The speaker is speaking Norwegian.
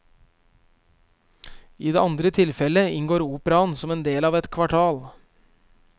I det andre tilfellet inngår operaen som en del av et kvartal.